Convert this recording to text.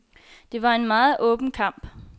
Det var en meget åben kamp.